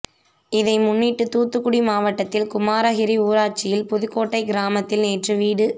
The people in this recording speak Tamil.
இதை முன்னிட்டு தூத்துக்குடி மாவட்டத்தில் குமாரகிரி ஊராட்சியில் புதுகோட்டை கிராமத்தில் நேற்று வீடு